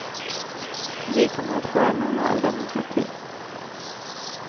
Vi kommer att få en normal demokrati.